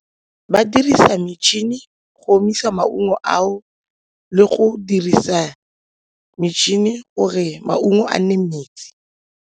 Ba dirisa metšhini go omisa maungo ao le go dirisa metšhini gore maungo a nne metsi.